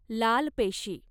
लाल पेशी